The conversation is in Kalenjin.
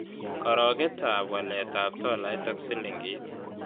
Karogetap waletap tolait ak silingiit